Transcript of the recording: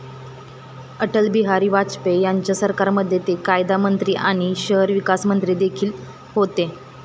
अटल बिहारी वाजपेयी यांच्या सरकारमध्ये ते कायदामंत्री आणि शहरी विकास मंत्री देखील होते.